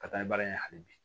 Ka taa ni baara in ye hali bi